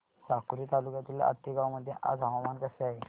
साकोली तालुक्यातील आतेगाव मध्ये आज हवामान कसे आहे